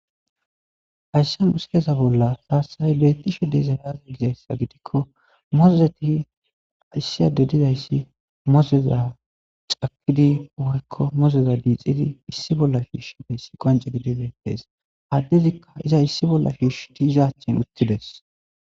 Hayissa missileza bolla tasi betishshe azee gikko muzetti issi ade dayissi muzeza cakiddi woykko muzeta qanxidi issi bolla shishshid qoncida issa detes.addetika ha muza issi bolla shishidi iza achan uttidi des.